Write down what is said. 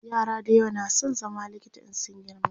yara da yawa na San zama likita in sun girma